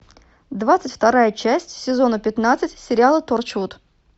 двадцать вторая часть сезона пятнадцать сериала торчвуд